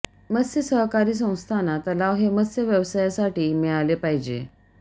मत्स्य सहकारी संस्थांना तलाव हे मत्स्य व्यवसायासाठी मिळाले पाहिजे